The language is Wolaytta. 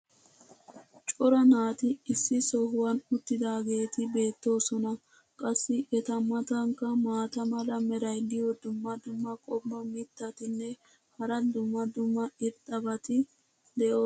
cora naati issi sohuwan uttidaageeti beetoosona. qassi eta matankka maata mala meray diyo dumma dumma qommo mitattinne hara dumma dumma irxxabati de'oosona.